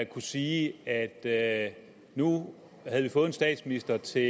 kunne sige at at nu havde vi fået en statsminister til